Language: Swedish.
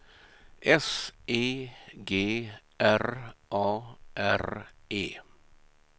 S E G R A R E